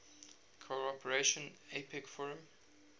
cooperation apec forum